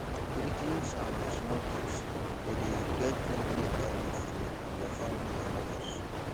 greetings and small talks de de create friendly environment for you and your family or neighbours